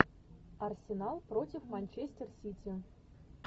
арсенал против манчестер сити